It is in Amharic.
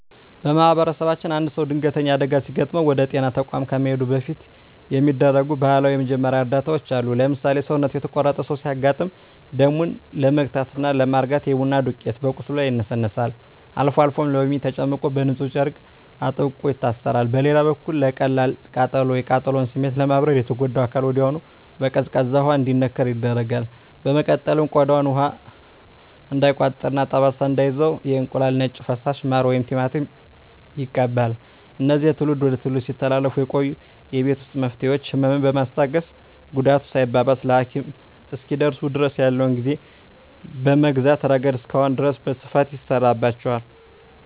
በማኅበረሰባችን አንድ ሰው ድንገተኛ አደጋ ሲገጥመው ወደ ጤና ተቋም ከመሄዱ በፊት የሚደረጉ ባህላዊ የመጀመሪያ እርዳታዎች አሉ። ለምሳሌ፣ ሰውነቱ የተቆረጠ ሰው ሲያጋጥም ደሙን ለመግታትና ለማርጋት የቡና ዱቄት በቁስሉ ላይ ይነሰነሳል፤ አልፎ አልፎም ሎሚ ተጨምቆበት በንፁህ ጨርቅ አጥብቆ ይታሰራል። በሌላ በኩል ለቀላል ቃጠሎ፣ የቃጠሎውን ስሜት ለማብረድ የተጎዳው አካል ወዲያውኑ በቀዝቃዛ ውሃ እንዲነከር ይደረጋል። በመቀጠልም ቆዳው ውሃ እንዳይቋጥርና ጠባሳ እንዳይተው የእንቁላል ነጭ ፈሳሽ፣ ማር ወይም ቲማቲም ይቀባል። እነዚህ ከትውልድ ወደ ትውልድ ሲተላለፉ የቆዩ የቤት ውስጥ መፍትሄዎች፣ ህመምን በማስታገስና ጉዳቱ ሳይባባስ ለሐኪም እስኪደርሱ ድረስ ያለውን ጊዜ በመግዛት ረገድ እስካሁን ድረስ በስፋት ይሠራባቸዋል።